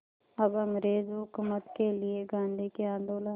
अब अंग्रेज़ हुकूमत के लिए गांधी के आंदोलन